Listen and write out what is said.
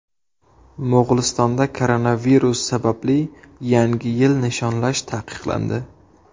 Mo‘g‘ulistonda koronavirus sababli Yangi yilni nishonlash taqiqlandi.